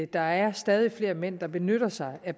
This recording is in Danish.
der er stadig flere mænd der benytter sig af